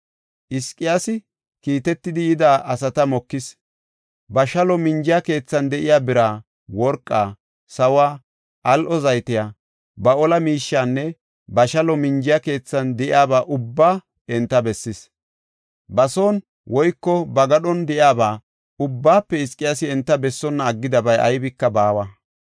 Hizqiyaasi kiitetidi yida asata mokis. Ba shalo minjiya keethan de7iya bira, worqaa, sawuwa, al7o zaytiya, ba ola miishiyanne ba shalo minjiya keethan de7iyaba ubbaa enta bessis. Ba son woyko ba gadhon de7iyaba ubbaafe Hizqiyaasi enta bessonna aggidabay aybika baawa.